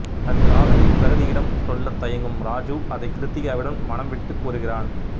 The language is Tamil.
தன் காதலை பிரகதியிடம் சொல்லத் தயங்கும் ராஜிவ் அதை கிருத்திகாவிடம் மனம்விட்டுக் கூறுகிறான்